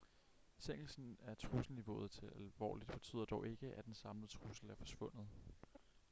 sænkelsen af trusselniveauet til alvorligt betyder dog ikke at den samlede trussel er forsvundet